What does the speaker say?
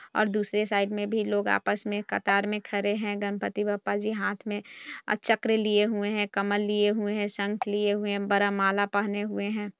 और दूसरे साइड में भी लोग आपस में कतार में खड़े हैं गणपति बप्पा जी हाथ में और चक्र लिए हुए हैं कमल लिए हुए हैं शंख लिए हुए हैं वर्णमाला पहने हुए हैं।